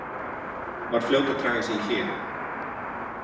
Var fljót að draga sig í hlé.